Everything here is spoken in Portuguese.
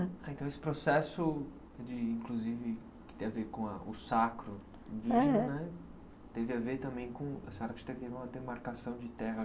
Então esse processo, de inclusive, que tem a ver com a o sacro indígena, teve a ver também com a demarcação de terra?